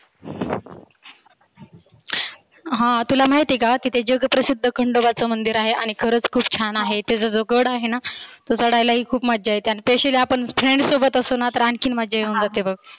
हा तुला माहिती आहे काहा तुला महिती आहे का? जग प्रसिद्ध खंडोबाच मंदिर आहे आणि खरच खुप छान आहे. त्याचा जो गड आहेना तो चढायला ही खुप मज्जा येते. आणि त्यावेळेस friend सोबत असलो ना की आनखी मज्जा येते बघ.